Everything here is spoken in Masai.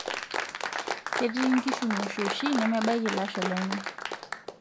Ketii nkishu ng'oshoshi nemebaiki lashoo lenye.